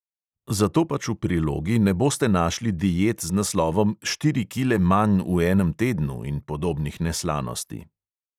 Zato pač v prilogi ne boste našli diet z naslovom "štiri kile manj v enem tednu" in podobnih neslanosti.